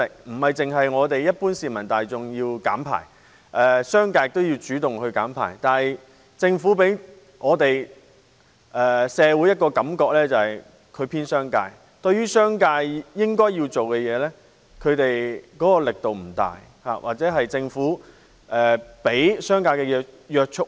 不僅是一般市民大眾要減排，商界也要主動減排，但政府給社會的感覺是偏幫商界，對於商界應該做的工作，推動力度不大，或對商界過於寬容。